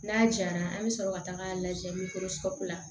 N'a jayanna an bɛ sɔrɔ ka taga lajɛ la